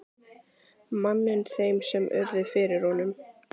manninn þeim sem urðu fyrir honum.